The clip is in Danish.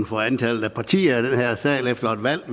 for antallet af partier i den her sal efter et valg